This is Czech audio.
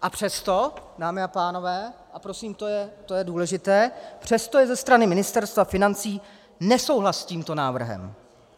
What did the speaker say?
A přesto, dámy a pánové, a prosím, to je důležité, přesto je ze strany Ministerstva financí nesouhlas s tímto návrhem!